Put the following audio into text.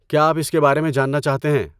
کیا آپ اس کے بارے میں جاننا چاہتے ہیں؟